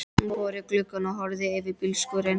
Hún fór út í glugga og horfði yfir á bílskúrinn.